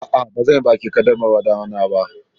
Aa, bazanyi bikin kaddamarwar ɗana ba